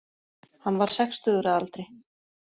Hann var sextugur að aldri